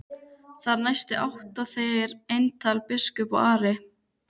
Þar næst áttu þeir eintal biskup og Ari.